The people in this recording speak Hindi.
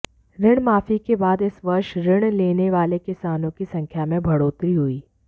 ऋण माफी के बाद इस वर्ष ऋण लेने वाले किसानों की संख्या में बढ़ोतरी हुई